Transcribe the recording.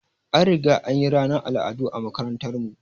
An riga anyi ranar al'adu a makarantar mu